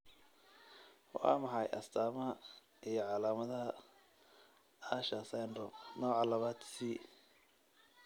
Waa maxay astamaha iyo calaamadaha Usher syndrome, nooca labaad C?